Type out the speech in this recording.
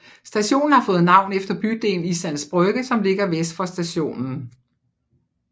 Stationen har fået navn efter bydelen Islands Brygge som ligger vest for stationen